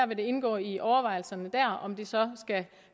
vil indgå i overvejelserne der om de så skal